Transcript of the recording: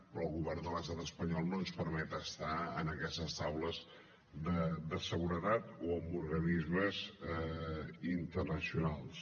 però el govern de l’estat espanyol no ens permet estar en aquestes taules de seguretat o en organismes internacionals